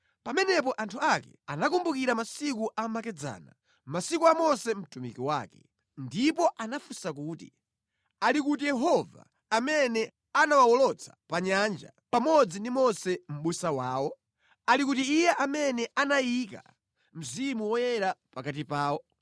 Pamenepo anthu ake anakumbukira masiku amakedzana, masiku a Mose mtumiki wake; ndipo anafunsa kuti, “Ali kuti Yehova amene anawawolotsa pa nyanja, pamodzi ndi Mose mʼbusa wawo? Ali kuti Iye amene anayika Mzimu Woyera pakati pawo?